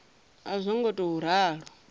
a zwo ngo tou ralo